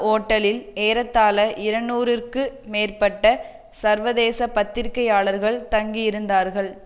ஓட்டலில் ஏறத்தாழ இருநூறு இற்கு மேற்பட்ட சர்வதேச பத்திரிகையாளர்கள் தங்கியிருந்தார்கள்